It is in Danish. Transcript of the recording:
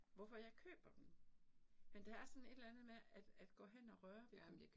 Hvorfor jeg køber dem. Men der er sådan et eller andet med at at gå hen og røre ved dem